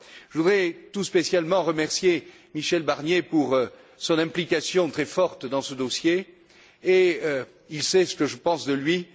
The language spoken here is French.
Je voudrais tout spécialement remercier Michel Barnier pour son implication très forte dans ce dossier, et il sait ce que je pense de lui.